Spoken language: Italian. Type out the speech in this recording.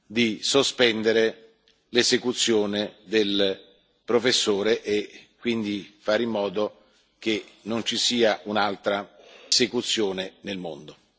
di sospendere l'esecuzione del professore e quindi di fare in modo che non ci sia un'altra esecuzione nel mondo.